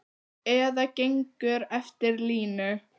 Eða gengur eftir línu.